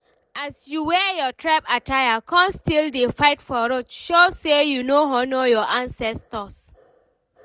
as you wear your tribe attire con still dey fight for road show say you no honour your ancestors.